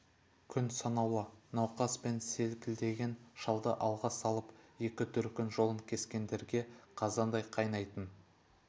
күн санаулы науқас пен селкілдеген шалды алға салып екі дүркін жолын кескендерге қазандай қайнайтын